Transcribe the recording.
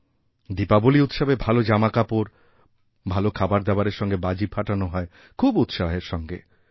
দীপাবলী উৎসবে ভাল জামাকাপড় ভাল খাবারদাবারের সঙ্গে বাজিফাটানো হয় খুব উৎসাহের সঙ্গে